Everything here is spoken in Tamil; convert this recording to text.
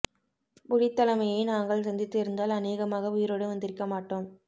புலித் தலைமையை நாங்கள் சந்தித்து இருந்தால் அநேகமாக உயிரோடு வந்திருக்க மாட்டோம்